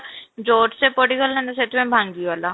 ଜୋରସେ ପଡିଗଲା ନା ସେଥିପାଇଁ ଭାଙ୍ଗିଗଲା